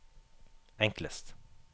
enklest